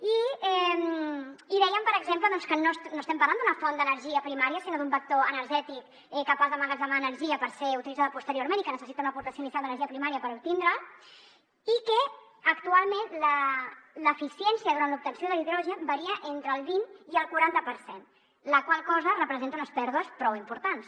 i deien per exemple que no estem parlant d’una font d’energia primària sinó d’un vector energètic capaç d’emmagatzemar energia per ser utilitzada posteriorment i que necessita una aportació inicial d’energia primària per obtindre’l i que actualment l’eficiència durant l’obtenció de l’hidrogen varia entre el vint i el quaranta per cent la qual cosa representa unes pèrdues prou importants